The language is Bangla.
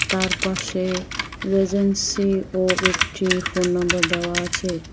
তার পাশে রয়েছেন সি ও একটি ফোন নাম্বার দেওয়া আছে।